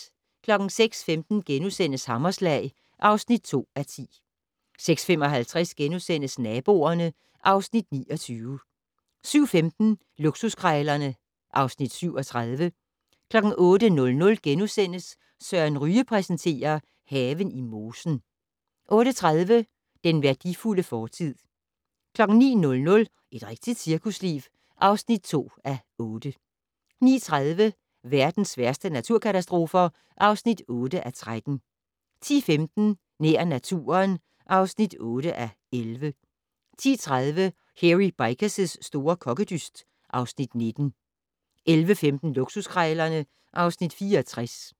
06:15: Hammerslag (2:10)* 06:55: Naboerne (Afs. 29)* 07:15: Luksuskrejlerne (Afs. 37) 08:00: Søren Ryge præsenterer: Haven i mosen (1:2)* 08:30: Den værdifulde fortid 09:00: Et rigtigt cirkusliv (2:8) 09:30: Verdens værste naturkatastrofer (8:13) 10:15: Nær naturen (8:11) 10:30: Hairy Bikers' store kokkedyst (Afs. 19) 11:15: Luksuskrejlerne (Afs. 64)